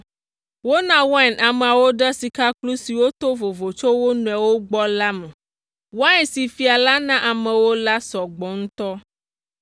Wona wain ameawo ɖe sikakplu siwo to vovo tso wo nɔewo gbɔ la me. Wain si fia la na amewo la sɔ gbɔ ŋutɔ.